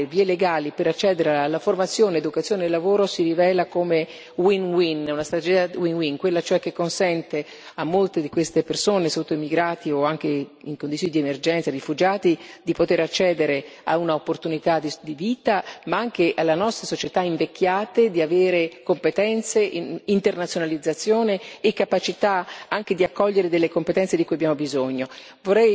L'educazione e le vie legali per accedere alla formazione, all'educazione e al lavoro si rivelano come una strategia win win, quella cioè che consente a molte di queste persone, immigrati o anche in condizioni di emergenza rifugiati, di poter accedere a un'opportunità di vita, ma anche alle nostra società invecchiate di avere competenze in internazionalizzazione e capacità